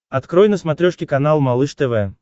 открой на смотрешке канал малыш тв